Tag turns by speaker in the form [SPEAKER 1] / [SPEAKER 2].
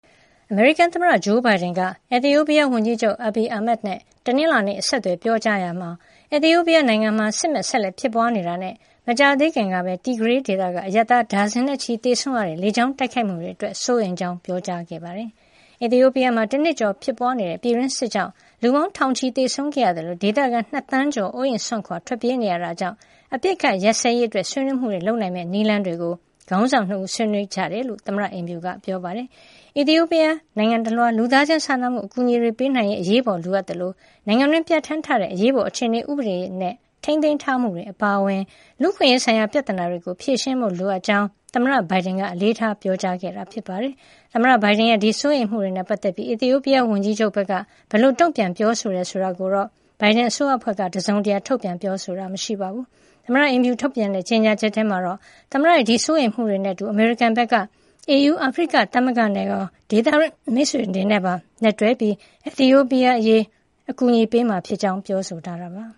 [SPEAKER 1] အမေရိကန်သမ္မတ ဂျိုးဘိုင်ဒန်က အီသီယိုပီးယားဝန်ကြီးချုပ် Abiy Ahmed နဲ့ တနင်္လာနေ့ ဆက်သွယ်ပြောကြားရာမှာ အီသီယိုပီးယားနိုင်ငံမှာ စစ်မက်ဆက်လက်ဖြစ်ပွါးနေတာနဲ့ မကြာသေးခင်ကပဲ တီဂရေးဒေသက အရပ်သား ဒါဇင်နဲ့ချီ သေဆုံးခဲ့ရတဲ့ လေကြောင်းတိုက်ခိုက်မှုတွေ အတွက် စိုးရိမ်ကြောင်း ပြောကြားခဲ့ပါတယ်။ အီသီယိုပီးယားမှာ တနှစ်ကျော်ဖြစ်ပွါးနေတဲ့ ပြည်တွင်းစစ်ကြောင့် လူပေါင်းထောင်နဲ့ချီ သေဆုံးခဲ့ရသလို ဒေသခံ ၂ သန်းကျော် အိုးအိမ်စွန့်ခွါ ထွက်ပြေးနေရတာကြောင့် အပစ်အခတ်ရပ်စဲရေးအတွက် ဆွေးနွေးမှုတွေ လုပ်နိုင်မယ့် နည်းလမ်းတွေကို ခေါင်းဆောင် ၂ ဦး ဆွေးနွေးခဲ့ကြတယ်လို့ သမ္မတ အိမ်ဖြူက ပြောပါတယ်။ အီသီယိုပီးယား နိုင်ငံတလွှား လူသားချင်းစာနာမှု အကူညီတွေ ပေးနိုင်ရေး အရေးပေါ်လိုအပ်နေသလို နိုင်ငံတွင်း ပြဌာန်းထားတဲ့ အရေးပေါ်အခြေနေ ဥပဒေနဲ့ ထိန်းသိမ်းထားမှုတွေ အပါအဝင် လူ့အခွင့်ရေးဆိုင်ရာ ပြဿနာတွေကို ဖြေရှင်းဖို့ လိုအပ်ကြောင်း သမ္မတဘိုင်ဒန်က အလေးထားပြောကြားခဲ့တယ်လို့ သမ္မတအိမ်ဖြူက ပြောပါတယ်။ သမ္မတဘိုင်ဒန်ရဲ့ ဒီစိုးရိမ်မှုတွေနဲ့ ပတ်သက်ပြီး အီသီယိုပီးယား ဝန်ကြီးချုပ် Abiy ဘက်က ဘယ်လိုတုန့်ပြန်ပြောဆိုတယ် ဆိုတာကိုတော့ သမ္မတ ဘိုင်ဒန် အစိုးရအဖွဲ့က တစုံတရာ ထုတ်ပြန်ပြောဆိုတာ မရှိပါဘူး။ သမ္မတ အိမ်ဖြူထုတ်ပြန်တဲ့ ကြေညာချက်ထဲမှာတော့ သမ္မတရဲ့ ဒီစိုးရိမ်မှုတွေနဲ့ အတူ အမေရိကန်ဘက်က AU အာဖရိကသမဂ္ဂနဲ့ရော ဒေသတွင်းမိတ်ဆွေတွေနဲ့ပါ လက်တွဲပြီး အီသီယိုပီးယား အရေး ငြိမ်းချမ်းစွာ ဖြေရှင်းဖို့ အကူညီတွေ ပေးမှာ ဖြစ်ကြောင်
[SPEAKER 2] း ထပ်လောင်းပြောဆိုထားတာပါ။